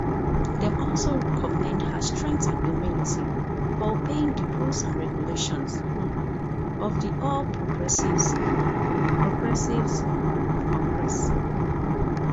dem also commend her strength and humility for obeying di rules and regulations um of di all progressives um progressives um congress